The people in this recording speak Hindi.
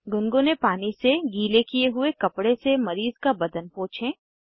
गुनगुने पानी से गीले किये हुए कपडे से मरीज़ का बदन पोछें